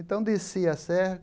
Então, descia a serra.